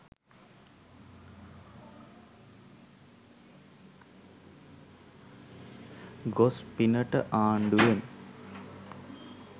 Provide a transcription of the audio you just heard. ගොස් පිනට ආණ්ඩුවෙන්